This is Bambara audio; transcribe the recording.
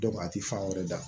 a tɛ fan wɛrɛ da